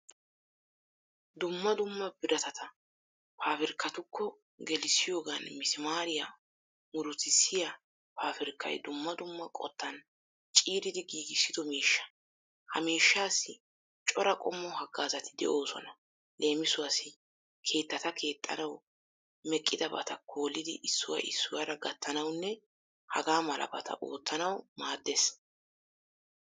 Dumma dumma biratata pabirkkatukko gelissiyogan misimaariya murutissiya pabirkkay dumma dumma qottan ciiridi gigissido mishsha. Ha mishshassi coraa qommo haggazati de'oosona, leemisuwassi: keettata kexxanawu meqqidabata koolidi issuwa issuwara gattanawunne Haga malabata ottanawu maddees